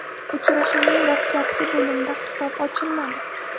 Uchrashuvning dastlabki bo‘limda hisob ochilmadi.